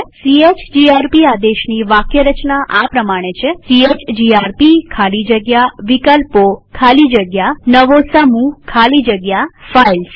CHGRP આદેશની વાક્યરચના આ પ્રમાણે છે160 સીએચજીઆરપી ખાલી જગ્યા વિકલ્પો ખાલી જગ્યા નવો સમૂહ ખાલી જગ્યા ફાઇલ્સ